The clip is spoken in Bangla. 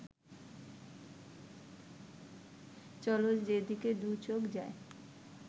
চলো যেদিকে দুচোখ যায়